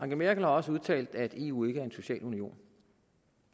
merkel har også udtalt at eu ikke er en social union